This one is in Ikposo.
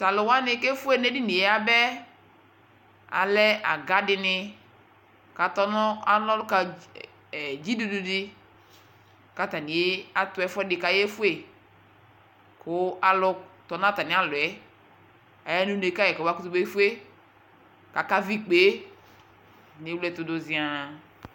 Taluwani ku efue nu edini yɛ yaba yɛ alɛ aga dini ku ana ɔluna ka ɔbanibani di ku atani atu ɛfuɛ di ku ayefue ku alu tɔ nu atami alɔ yɛ Aya nu une ka kɔmakutu befue Akavi ikpe ku ewle ɛtu du ziaa